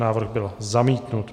Návrh byl zamítnut.